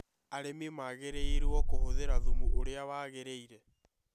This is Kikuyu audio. Arĩmi magĩrĩirũo kũhũthĩra thumu uria waagĩrĩire.